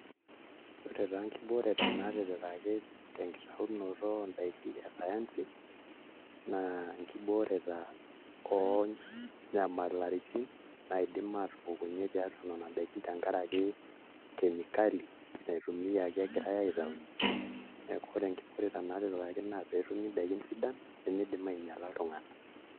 Ore taa nkibooreta naatipikaki tenkitaunoto oondaiki e sayansi naa nkibooreta oonyamalaitin naidim aatupukunyie tenkaraki nena daikin tenkaraki kemikali natumiaki egirai aitaunyie neeku ore nkibooreta naatipikaki naa peetumi ndaiki sidan nemiidim ainyiala iltung'anak.